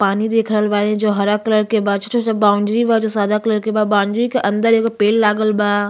पानी देख रहल बानी जो हरा कलर के बा। बाउंड्री बा जो सादा कलर के बा। बाउंड्री के अंदर एगो पेड़ लागल बा।